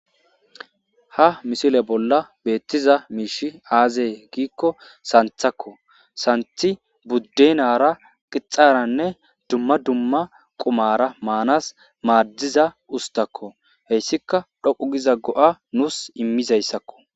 Haa missile bolla betizayi mishshi azee gikko saniththakko .saniththi budenara kixxarenne dumma dumma qummara Manas madizza usittakko.heyissikka dhoqqu Giza go'a nusi immizayissakko.